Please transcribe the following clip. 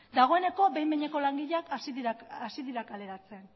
dagoeneko behin behineko langileak hasi dira kaleratzen